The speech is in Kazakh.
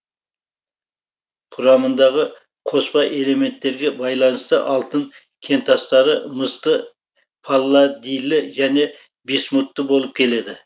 құрамындағы қоспа элементтерге байланысты алтын кентастары мысты палладийлі және висмутты болып келеді